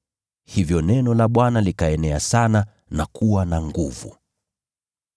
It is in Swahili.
Hivyo neno la Bwana likaenea sana na kuwa na nguvu.